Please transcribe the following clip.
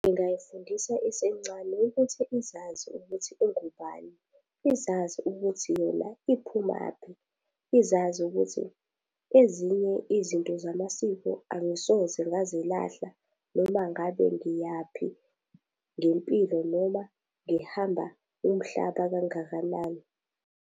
Ngingayifundisa isencane ukuthi izazi ukuthi ingubani, izazi ukuthi yona iphumaphi. Izazi ukuthi ezinye izinto zamasiko angisoze ngazilahla noma ngabe ngiyaphi ngempilo noma ngihamba umhlaba kangakanani.